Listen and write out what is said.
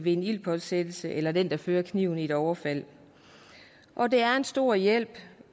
en ildspåsættelse eller den der fører kniven i et overfald det er en stor hjælp